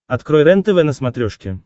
открой рентв на смотрешке